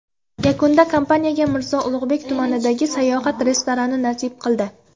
Yakunda kompaniyaga Mirzo Ulug‘bek tumanidagi Sayohat restorani nasib qildi .